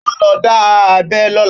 Óò lọ dá abẹ́ lọ́la